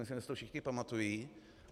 Myslím, že si to všichni pamatují.